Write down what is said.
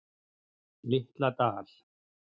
Litla Dal